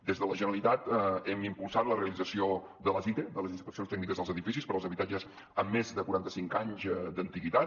des de la generalitat hem impulsat la realització de les ite de les inspeccions tècniques dels edificis per als habitatges amb més de quaranta cinc anys d’antiguitat